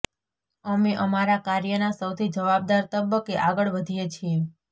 અમે અમારા કાર્યના સૌથી જવાબદાર તબક્કે આગળ વધીએ છીએ